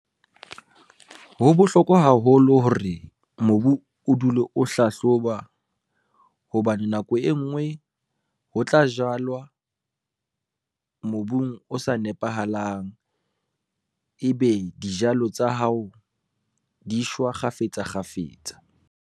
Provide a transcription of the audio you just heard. Ho bohlokwa haholo hore mobu o dule o hlahloba, hobane nako e ngwe ho tla jalwa, mobung o sa nepahalang. Ebe dijalo tsa hao di shwa kgafetsa kgafetsa.